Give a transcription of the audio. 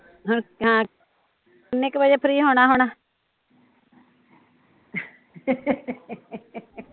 ਹਾਂ ਹੁਣ ਕਿੰਨੇ ਕੁ ਵਜੇ ਫ਼੍ਰੀ ਹੋਣਾ ਹੁਣ